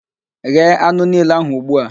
Ghee anụ niile ahụ ugbu a!